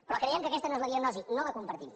però creiem que aquesta no és la diagnosi no la compartim